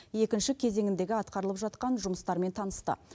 екінші кезеңіндегі атқарылып жатқан жұмыстармен танысты